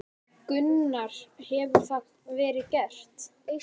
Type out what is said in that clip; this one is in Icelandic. Gunnar: Hefur það verið gert?